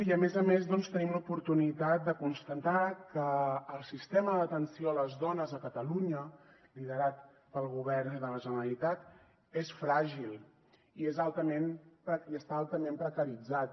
i a més a més doncs tenim l’oportunitat de constatar que el sistema d’atenció a les dones a catalunya liderat pel govern de la generalitat és fràgil i està altament precaritzat